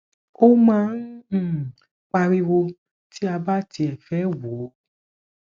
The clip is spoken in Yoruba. o máa ń ń pariwo ti a bá tiẹ fe wò